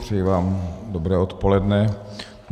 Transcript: Přeji vám dobré odpoledne.